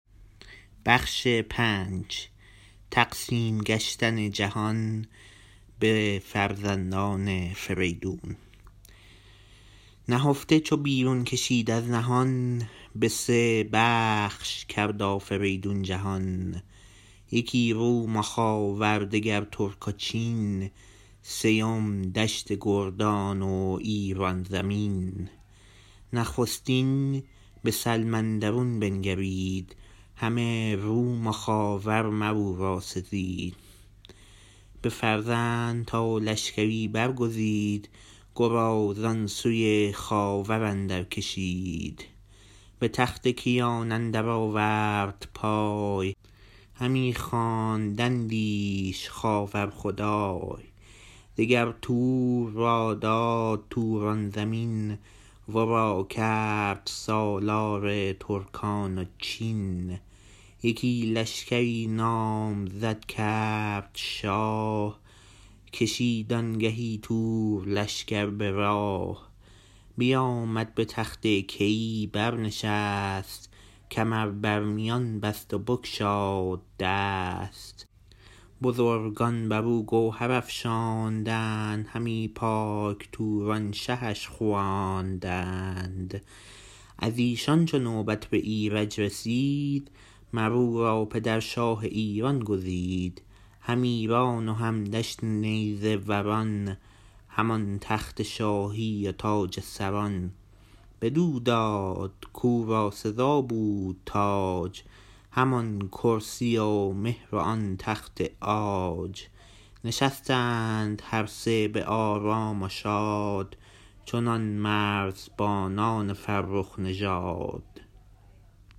نهفته چو بیرون کشید از نهان به سه بخش کرد آفریدون جهان یکی روم و خاور دگر ترک و چین سیم دشت گردان و ایران زمین نخستین به سلم اندرون بنگرید همه روم و خاور مراو را سزید بفرمود تا لشکری برگزید گرازان سوی خاور اندرکشید به تخت کیان اندر آورد پای همی خواندندیش خاور خدای دگر تور را داد توران زمین ورا کرد سالار ترکان و چین یکی لشکری نامزد کرد شاه کشید آنگهی تور لشکر به راه بیامد به تخت کیی برنشست کمر بر میان بست و بگشاد دست بزرگان برو گوهر افشاندند همی پاک توران شهش خواندند از ایشان چو نوبت به ایرج رسید مر او را پدر شاه ایران گزید هم ایران و هم دشت نیزه وران هم آن تخت شاهی و تاج سران بدو داد کورا سزا بود تاج همان کرسی و مهر و آن تخت عاج نشستند هر سه به آرام و شاد چنان مرزبانان فرخ نژاد